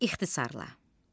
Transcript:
İxtisar la.